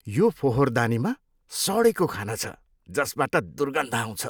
यो फोहोरदानीमा सडेको खाना छ जसबाट दुर्गन्ध आउँछ।